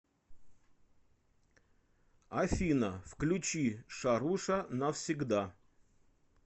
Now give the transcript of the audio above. афина включи шаруша навсегда